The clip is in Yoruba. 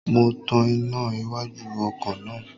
Mo tan iná iwájú ọkọ̀ náà